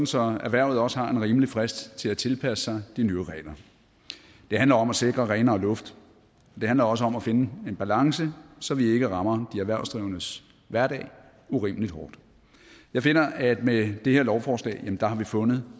så erhvervet også har en rimelig frist til at tilpasse sig de nye regler det handler om at sikre renere luft det handler også om at finde en balance så vi ikke rammer de erhvervsdrivendes hverdag urimelig hårdt jeg finder at vi med det her lovforslag har fundet